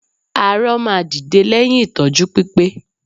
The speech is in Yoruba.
Arọ máa dìde lẹ́yìn ìtọ́jú pípé